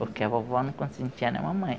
Porque a vovó não consentia nem a mamãe.